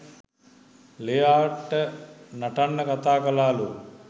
ලෙයාට නටන්න කතා කළාලු